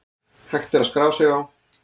Hægt að skrá sig á